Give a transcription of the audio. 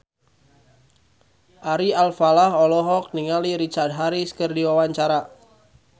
Ari Alfalah olohok ningali Richard Harris keur diwawancara